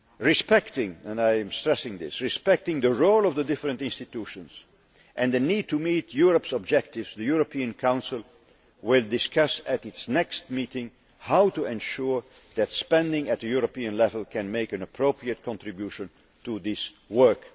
Respecting' and I stress this respecting the role of the different institutions and the need to meet Europe's objectives, the European Council will discuss at its next meeting how to ensure that spending at the European level can make an appropriate contribution to this work'.